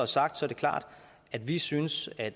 sagt er det klart at vi synes at